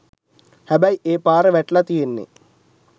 හැබැයි ඒ පාර වැටිලා තියෙන්නේ